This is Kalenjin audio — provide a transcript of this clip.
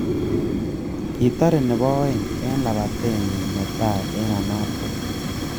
Kitare nebo aeng eng lapatetnyi netai eng ainabkoi